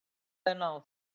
Hvað er náð?